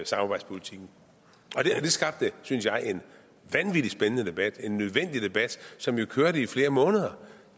samarbejdspolitikken og det skabte synes jeg en vanvittig spændende debat en nødvendig debat som jo kørte i flere måneder